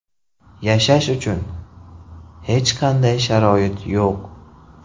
Yashash uchun hech qanday sharoit yo‘q.